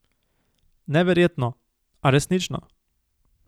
Neverjetno, a resnično.